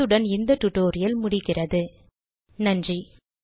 இத்துடன் இந்த டுடோரியல் முடிகிறது நன்றி